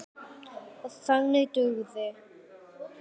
OG ÞAÐ DUGÐI.